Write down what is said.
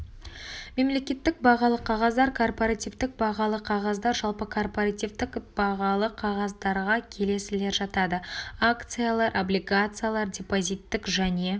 мемлекеттік бағалы қағаздар корпоративтік бағалы қағаздар жалпы корпоративтік бағалы қағаздарға келесілер жатады акциялар облигациялар депозиттік және